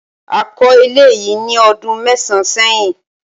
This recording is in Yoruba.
a ko ilé yi ní ọdún mẹsan sẹyìn